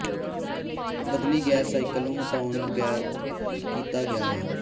ਬਦਲੀ gas cycle ਨੂੰ ਹਟਾਉਣ ਬਗੈਰ ਕੀਤਾ ਗਿਆ ਹੈ